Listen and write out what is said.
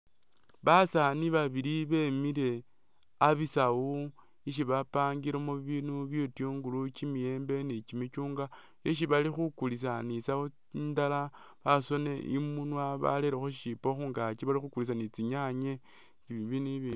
Basaani babili bemiile abisaawu ishi bapangilemo bibindu bityungulu, kimiyembe ni kimichungwa isi bali khukulisa ni'saawu indaala basoonile imunwa barerekho shishipo khungaaki bali khukuliisa ni tsinyaanye ni' bibinu bibindi.